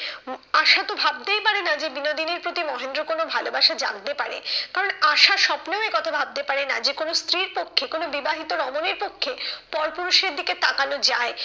আশা তো ভাবতেই পারে না যে বিনোদিনীর প্রতি মহেন্দ্র কোনো ভালোবাসা জাগতে পারে। কারণ আশা স্বপ্নেও এ কথা ভাবতে পারে না যে কোনো স্ত্রীর পক্ষে কোনো বিবাহিত রমণীর পক্ষে পর পুরুষের দিকে তাকানো যায়।